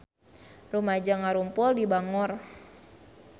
Rumaja ngarumpul di Bangor